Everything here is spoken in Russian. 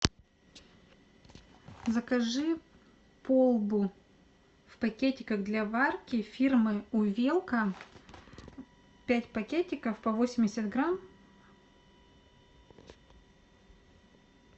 закажи полбу в пакетиках для варки фирмы увелка пять пакетиков по восемьдесят грамм